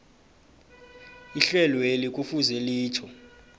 ihlelweli kufuze litjho